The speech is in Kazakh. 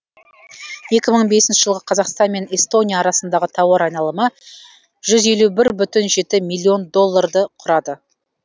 екі мың бесінші жылы қазақстан мен эстония арасындағы тауар айналымы жүз елу бір бүтін жеті миллион долларды құрады